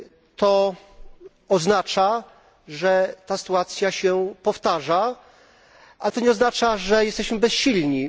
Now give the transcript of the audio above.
To oznacza, że ta sytuacja się powtarza, ale to nie oznacza, że jesteśmy bezsilni.